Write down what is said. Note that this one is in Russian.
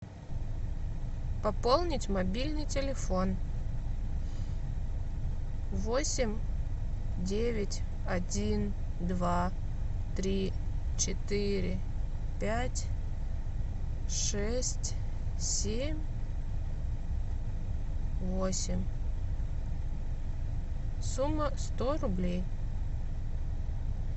пополнить мобильный телефон восемь девять один два три четыре пять шесть семь восемь сумма сто рублей